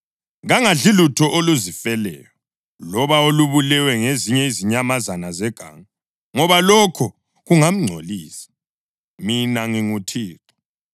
Kangadli lutho oluzifeleyo, loba olubulewe ngezinye izinyamazana zeganga, ngoba lokho kungamngcolisa. Mina nginguThixo.